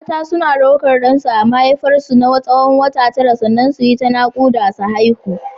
Mata suna ɗaukar ɗansu a cikin mahaifar su na tsawon wata tara sannan su yi ta naƙuda su haihu.